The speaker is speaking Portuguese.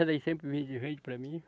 Ela sempre vende e vende para mim.